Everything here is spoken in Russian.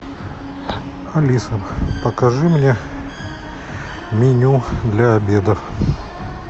алиса покажи мне меню для обеда